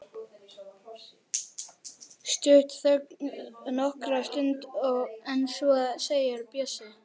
Stutt þögn nokkra stund en svo segir Bjössi